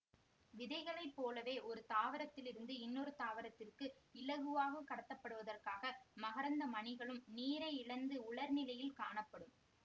விதைகளைப் போலவே ஒரு தாவரத்தில் இருந்து இன்னொரு தாவரத்திற்கு இலகுவாகக் கடத்தப்படுவதற்காக மகரந்த மணிகளும் நீரை இழந்து உலர்நிலையில் காணப்படும்